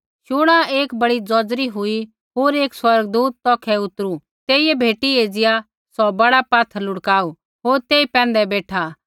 शुणा एक बड़ी ज़ौज़री हुई होर एक स्वर्गदूत तौखै उतरु तेइयै भेटी एज़िया सौ बड़ा पात्थर लुढ़काऊ होर तेई पैंधै बेठा